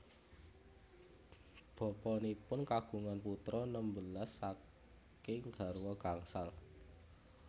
Bapanipun kagungan putra nembelas saking garwa gangsal